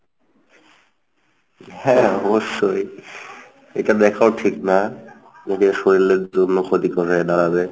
হ্যাঁ অবশ্যই, এটা দেখাও ঠিক না যদিও শরীরের জন্য ক্ষতিকর হয়ে দাঁড়াবে।